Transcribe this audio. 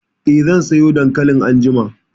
Eh, zan soya dankalin anjima